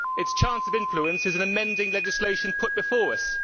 Its chance of influence is in amending legislation put before us.